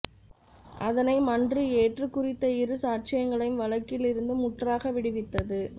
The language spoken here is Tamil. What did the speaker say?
அதனை மன்று ஏற்று குறித்த இரு சாட்சியங்களையும் வழக்கில் இருந்து முற்றாக விடுவித்தது